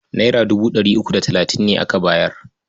Naira dubu ɗari uku da talatin ne aka bayar.